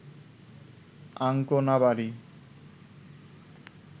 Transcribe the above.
Ancona, বারি